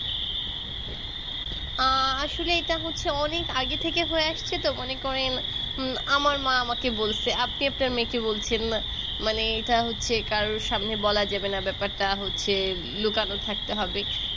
আ আসলে এটা হচ্ছে অনেক আগে থেকে হয়ে আসছে তো মনে করেন হুম আমার মা আমাকে বলসে আপনি আপনার মেয়েকে বলছেন মানে এটা হচ্ছে কারোর সামনে বলা যাবেনা ব্যাপারটা হচ্ছে লুকানো থাকতে হবে